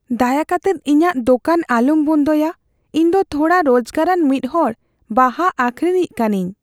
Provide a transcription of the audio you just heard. ᱫᱟᱭᱟ ᱠᱟᱛᱮᱫ ᱤᱧᱟᱜ ᱫᱳᱠᱟᱱ ᱟᱞᱚᱢ ᱵᱚᱱᱫᱚᱭᱟ ᱾ ᱤᱧ ᱫᱚ ᱛᱷᱚᱲᱟ ᱨᱳᱡᱜᱟᱨᱟᱱ ᱢᱤᱫ ᱦᱚᱲ ᱵᱟᱦᱟ ᱟᱹᱠᱷᱨᱤᱧᱤᱡ ᱠᱟᱹᱱᱟᱹᱧ ᱾